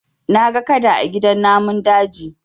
Na ga Kada a gidan namun daji